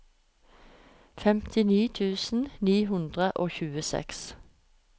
femtini tusen ni hundre og tjueseks